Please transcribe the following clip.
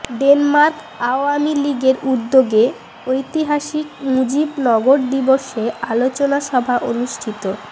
Denmark Awami লীগের উদ্যোগে ঐতিহাসিক মুজিব নগর দিবসে আলোচনা সভা অনুষ্ঠিত